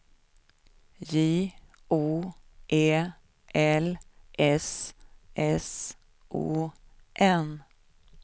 J O E L S S O N